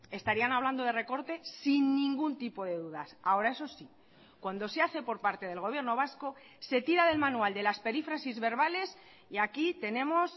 estarían hablando de recortes sin ningún tipo de dudas ahora eso sí cuando se hace por parte del gobierno vasco se tira del manual de las perífrasis verbales y aquí tenemos